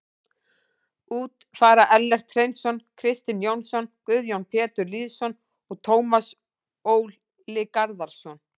Út fara Ellert Hreinsson, Kristinn Jónsson, Guðjón Pétur Lýðsson og Tómas Ól Garðarsson.